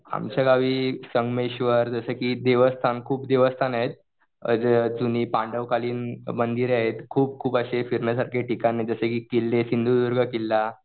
आमच्या गावी संगमेश्वर देवस्थान जसं की खूप देवस्थान आहेत. अ जुनी पांडव कालीन मंदिरं आहेत. खूप खूप अशी फिरण्यासारखी ठिकाण आहेत जसं की किल्ले सिंधुदुर्ग किल्ला.